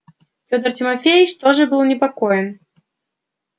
федор тимофеич тоже был непокоен